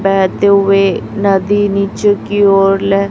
बहते हुए नदी नीचे की ओर ले--